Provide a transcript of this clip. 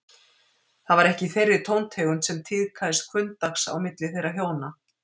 Það var ekki í þeirri tóntegund sem tíðkaðist hvunndags á milli þeirra hjóna.